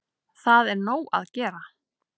Það er nóg að gera.